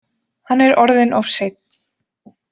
Hann er orðinn of seinn.